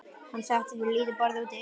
Hann settist við lítið borð úti í horni.